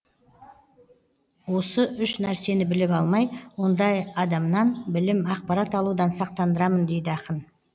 осы үш нәрсені біліп алмай ондай адамнан білім ақпарат алудан сақтандырамын дейді ақын